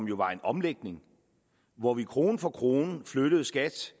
jo var en omlægning hvor vi krone for krone flyttede skat